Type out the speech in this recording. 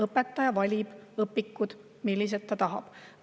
Õpetaja valib õpikud, mida ta tahab.